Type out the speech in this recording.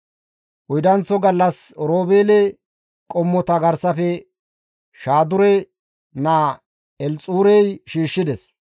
Oydanththo gallas Oroobeele qommota garsafe Shaadure naa Elxuurey shiishshides.